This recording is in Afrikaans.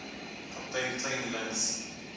kaptein kleyn links